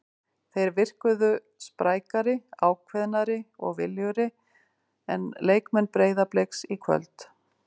Þeir virkuðu sprækari, ákveðnari og viljugri en leikmenn Breiðabliks í kvöld.